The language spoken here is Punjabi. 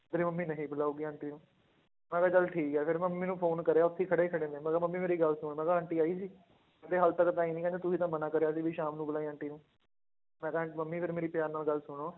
ਮੇਰੀ ਮੰਮੀ ਨਹੀਂ ਬੁਲਾਊਗੀ ਆਂਟੀ ਨੂੰ ਮੈਂ ਕਿਹਾ ਚੱਲ ਠੀਕ ਹੈ ਫਿਰ ਮੰਮੀ ਨੂੰ phone ਕਰਿਆ ਉੱਥੇ ਹੀ ਖੜੇ ਖੜੇ ਨੇ ਮੈਂ ਕਿਹਾ ਮੰਮੀ ਮੇਰੀ ਗੱਲ ਸੁਣ ਮੈਂ ਕਿਹਾ ਆਂਟੀ ਆਈ ਸੀ ਕਹਿੰਦੇ ਹਾਲੇ ਤੱਕ ਤਾਂ ਆਈ ਨੀ ਕਹਿੰਦੇ ਤੂੰ ਹੀ ਤਾਂ ਮਨਾ ਕਰਿਆ ਸੀ ਵੀ ਸ਼ਾਮ ਨੂੰ ਬੁਲਾਈ ਆਂਟੀ ਨੂੰ, ਮੈਂ ਕਿਹਾ ਮੰਮੀ ਫਿਰ ਮੇਰੀ ਪਿਆਰ ਨਾਲ ਗੱਲ ਸੁਣੋ